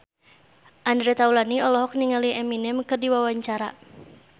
Andre Taulany olohok ningali Eminem keur diwawancara